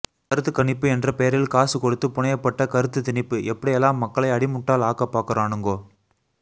கருத்துக்கணிப்பு என்ற பெயரில் காசு கொடுத்து புனையப்பட்ட கருத்துத்திணிப்பு எப்படியெல்லாம் மக்களை அடி முட்டாள் ஆக்கப்பாக்குரானுங்கோ